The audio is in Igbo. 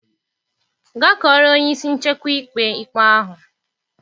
Gaa kọọrọ onye isi nchekwa ikpe ikpe ahụ.